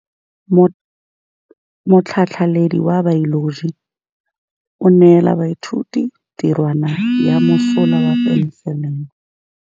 Motlhatlhaledi wa baeloji o neela baithuti tirwana ya mosola wa peniselene.